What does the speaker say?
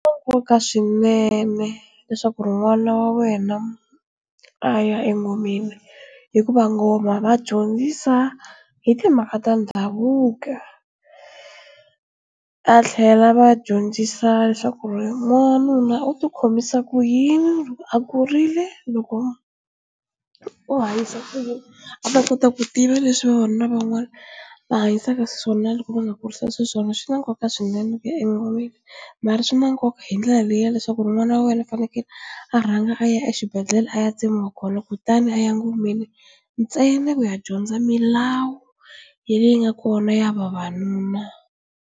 Nkoka swinene leswaku n'wana wa wena a ya engomeni hikuva ngoma va dyondzisa hi timhaka ta ndhavuko a tlhela va dyondzisa leswaku ri n'wanuna u ti khomisa ku yini loko a kurile loko u hanyisa kuyini a ta kota ku tiva leswi vavanuna van'wana va hanyisaka xiswona na loko va nga kurisa swona swi na nkoka swinene swi na nkoka hi ndlela leyi ya leswaku ri n'wani wa wena fanekele a rhanga a ya exibedhlele a ya tsemiwa kholo kutani a ya ngomeni ntsena ni ku ya dyondza milawu ya leyi yi nga kona ya vavanuna.